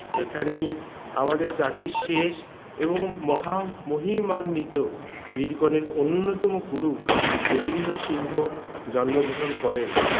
এইখানেই আমাদের জাতী শেষ এবং মহা মহি ম্মান্বিত বীরকনের অন্যতম গুরু গোবিন্দ সিংহ জন্মগ্রহণ করেন